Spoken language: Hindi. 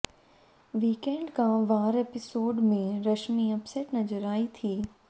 वीकेंड का वार एपिसोड में रश्मि अपसेट नजर आई थी